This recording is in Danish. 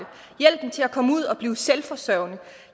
hjælpen til at komme ud og blive selvforsørgende